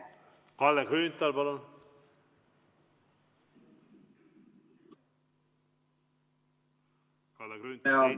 Kalle Grünthal, palun!